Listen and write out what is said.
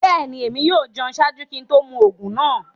Bẹ́ẹ̀ni, ẹ̀mi yóò jẹun ṣáàjú kí n tó mú oogun naa.